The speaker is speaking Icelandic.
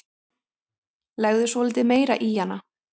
Legðu svolítið meira í hana.